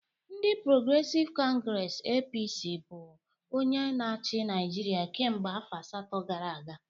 Ndị Porogresive Congresi (APC) bụ onye na-achị Naijiria kemgbe afọ asatọ gara aga